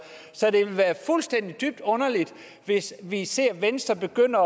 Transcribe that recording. så det ville være fuldstændig dybt underligt hvis vi ser venstre begynde